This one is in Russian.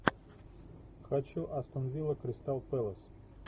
хочу астон вилла кристал пэлас